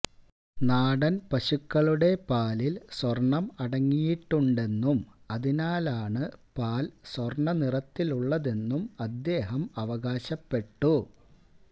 നാടന് പശുക്കളുടെ പാലിൽ സ്വർണ്ണം അടങ്ങിയിട്ടുണ്ടെന്നും അതിനാലാണ് പാൽ സ്വർണ്ണനിറത്തിലുള്ളതെന്നും അദ്ദേഹം അവകാശപ്പെട്ടു